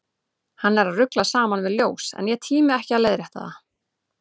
Hann er að rugla saman við ljós, en ég tími ekki að leiðrétta það.